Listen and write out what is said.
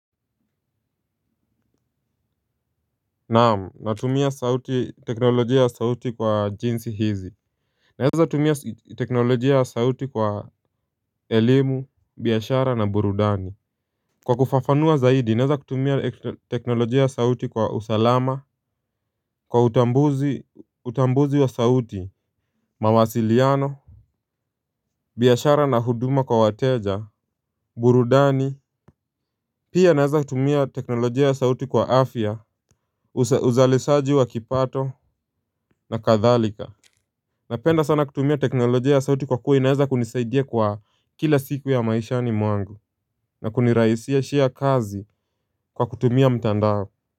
Naam natumia teknolojia ya sauti kwa jinsi hizi naweza tumia teknolojia ya sauti kwa elimu, biashara na burudani kwa kufafanua zaidi naweza tumia teknolojia ya sauti kwa usalama kwa utambuzi utambuzi wa sauti mawasiliano biashara na huduma kwa wateja burudani. Pia naeza tumia teknolojia sauti kwa afya uzalisaji wa kipato na kadhalika. Napenda sana kutumia teknolojia ya sauti kwa kuwa inaeza kunisaidia kwa kila siku ya maisha ni mwangu na kunirahishia kazi kwa kutumia mtandao.